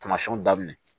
Tamasiɛnw daminɛ